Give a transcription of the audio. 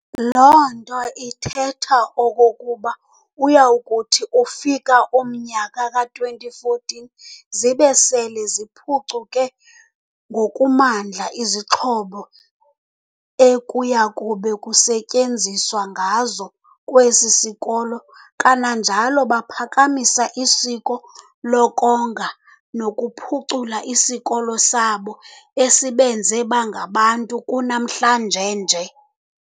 Loo nto ithethe okokuba uyawukuthi ufika umnyaka ka2014, zibe sele zikuphucuke ngokumandla izixhobo ekuyakube kusetyenziswa ngazo kwesi sikolo. Kananjalo baphakamise isiko lokonga nokuphucula isikolo sabo esibenze bangabantu kunamhlanje nje.